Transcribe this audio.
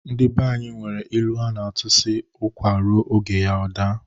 Ndị banyi nwere ilu a na-atụ sị, "ụkwa ruo oge ya ọ daa "